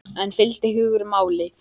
En fylgdi hugur máli?